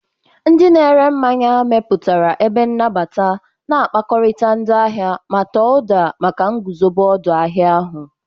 Ndị na ere mmanya mepụtara ebe nnabata, na-akpakọrịta ndị ahịa, ma tọọ ụda maka nguzobe odu ahia ahu.